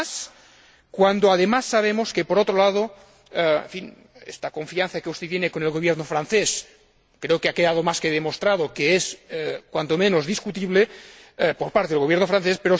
Pero más cuando además sabemos que, por otro lado, esta confianza que usted tiene en el Gobierno francés ha quedado más que demostrado que es, cuando menos, discutible, por parte del Gobierno francés.